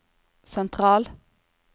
sentral